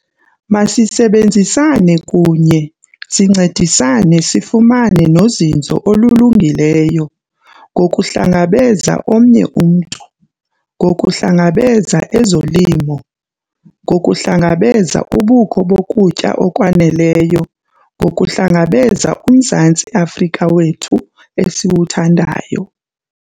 Masisebenzisane kunye, sincedisane sifumane nozinzo olulungileyo - ngokuhlangabeza omnye umntu, ngokuhlangabeza ezolimo, ngokuhlangabeza ubukho bokutya okwaneleyo ngokuhlangabeza uMzantsi Afrika wethu esiwuthandayo.